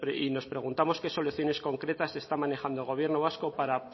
y nos preguntamos qué soluciones concretas está manejando el gobierno vasco para